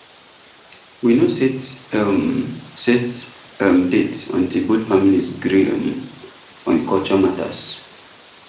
we no set um set um date until both families gree um on culture matters